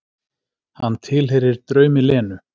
Hann tilheyrir draumi Lenu.